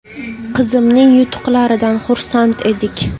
Qizimning yutuqlaridan xursand edik.